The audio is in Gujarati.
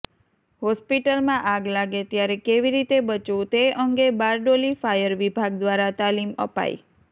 હોસ્પિટલમાં આગ લાગે ત્યારે કેવી રીતે બચવું તે અંગે બારડોલી ફાયર વિભાગ દ્વારા તાલીમ અપાય